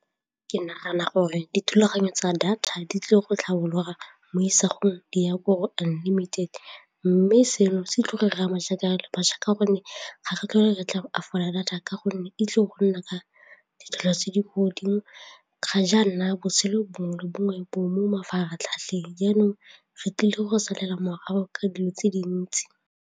Ke nagana gore dithulaganyo tsa data di tlile go tlhabolola mo isagong di ya gore unlimited mme seno se tla re re ama jaaka re le bašwa ka gonne ga re data ka gonne e tlile go nna ka ditlhopho tse di ko godimo ga jaana botshelo bongwe le bongwe bo mo mafaratlhatlheng jaanong re tlile go salela morago ka dilo tse dintsi.